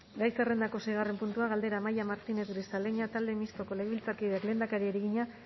gai zerrendako seigarren puntua galdera amaia martinez grisaleña talde mistoko legebiltzarkideak lehendakariari egina